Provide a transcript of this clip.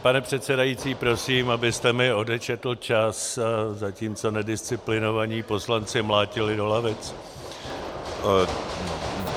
Pane předsedající, prosím, abyste mi odečetl čas, zatímco nedisciplinovaní poslanci mlátili do lavic.